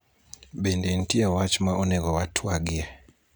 bende nitie wach ma onego watwagie ?